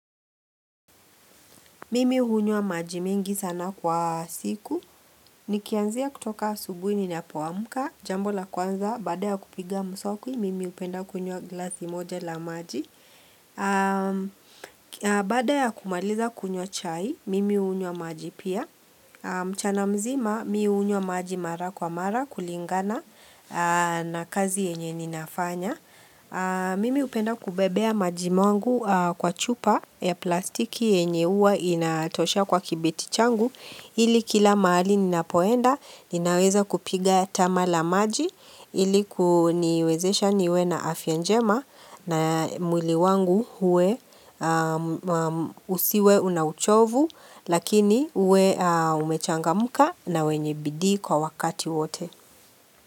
Mimi hunywa maji mingi sana kwa siku. Nikianzia kutoka asubuhi ninapoamka. Jambo la kwanza, baada ya kupiga mswaki, mimi hupenda kunywa glasi moja la maji. Baada ya kumaliza kunywa chai, mimi hunywa maji pia. Mchana mzima, mi hunywa maji mara kwa mara kulingana na kazi yenye ninafanya. Mimi hupenda kubebea maji mwangu kwa chupa ya plastiki yenye huwa inatoshea kwa kibeti changu ili kila mahali ninapoenda ninaweza kupiga tama la maji ili kuniwezesha niwe na afya njema na mwili wangu uwe usiwe una uchovu Lakini uwe umechangamka na wenye bidii kwa wakati wote.